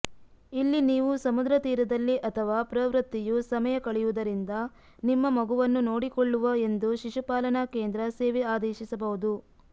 ಇಲ್ಲಿ ನೀವು ಸಮುದ್ರತೀರದಲ್ಲಿ ಅಥವಾ ಪ್ರವೃತ್ತಿಯು ಸಮಯ ಕಳೆಯುವುದರಿಂದ ನಿಮ್ಮ ಮಗುವನ್ನು ನೋಡಿಕೊಳ್ಳುವ ಎಂದು ಶಿಶುಪಾಲನಾ ಕೇಂದ್ರ ಸೇವೆ ಆದೇಶಿಸಬಹುದು